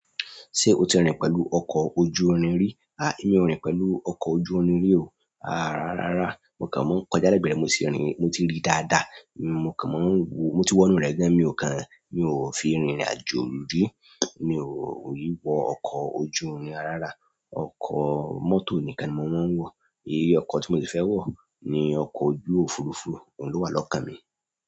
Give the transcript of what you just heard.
Ṣé o ti rìn pẹ̀lú ọkọ̀ ojú irin rí? Emi ò rìn pẹ̀lú ọkọ̀ ojú irin rí o. Rarara mo kan máa kọjá lẹgbẹ rẹ, mo ti rí dáadáa. Mo kàn maa ń wọ, mo ti wọ inú rẹ̀ gan, mi ò kàn fi rìnrìn àjò rí. Mi o i wo ọkọ ojú omi rarara. Ọkọ̀ mọ́tò nìkan ni mo máa ń wọ. Ọkọ̀ tí mo le fẹ́ wọ̀ ni ọkọ̀ ojú òfuurufú, ohun ló wà lọ́kàn mi.